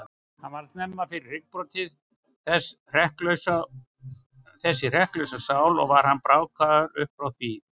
Hann varð snemma fyrir hryggbroti, þessi hrekklausa sál, og var hann brákaður upp frá því.